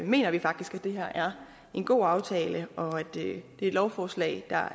mener vi faktisk at det her er en god aftale og at dette lovforslag